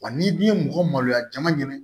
Wa n'i dun ye mɔgɔ maloya jama ɲini